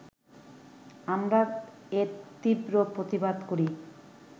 আমরা এর তীব্র প্রতিবাদ করি